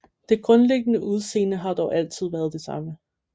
Det grundliggende udseende har dog altid været det samme